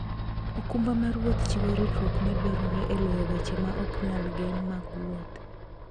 okumba mar wuoth chiwo ritruok madwarore e loyo weche ma ok nyal gen mag wuoth.